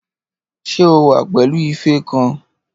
Ṣé o wà pẹ̀lú ife kan?